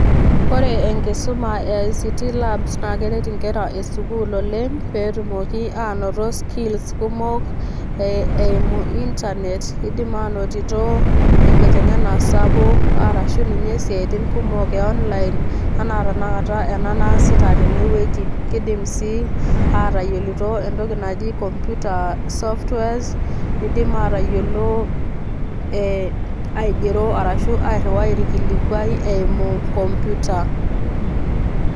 Ore enkisuma e [ICT lab naake eret inkera e sukuul oleng' pee etumoki anoto skills kumok eimu internet, idim anotito enkiteng'ena sapuk arashu ninye siaitin kumok e online enaa tenakata ena naasita tene wueji. Kidim sii atayolito entoki naji komputa softwares, nidim atayiolo ee aigero arashu airiwai orkilikuai eimu komputa.